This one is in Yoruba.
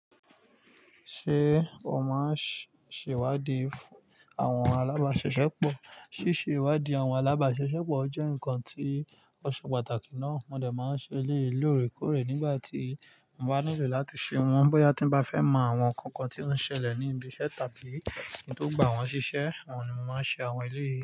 Ṣé o máa ń ṣèwádìí àwọn alábàáṣiṣepọ̀? Síse ìwádìí àwọn alábàáṣiṣeọpọ̀ jẹ́ nǹkan tí ó ṣe pàtàkì ná. Mo de máa ń ṣe eléyii lórèkórè nígbà tí mo bá nílò láti ṣe wọ́n. Bóyá tí mo bá fẹ́ mọ àwọn nǹkan kan tí ó ń ṣẹlẹ̀ ní ibi iṣẹ́ tàbí kin tó gba wọn ṣi iṣe, oun ni mo máa ń ṣe àwọn eleyìí.